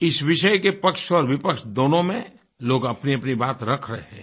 इस विषय के पक्ष और विपक्ष दोनों में लोग अपनीअपनी बात रख रहे हैं